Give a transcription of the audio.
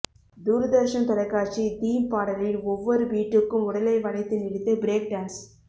தூர்தர்ஷன் தொலைக்காட்சி தீம் பாடலின் ஒவ்வொரு பீட்டுக்கு உடலை வளைத்து நெளித்து பிரேக் டான்ஸ்